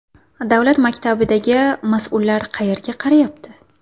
Davlat maktabidagi mas’ullar qayerga qarayapti?